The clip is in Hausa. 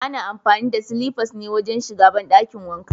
Ana amfani da silifas ne wajen shiga banɗakin wanka.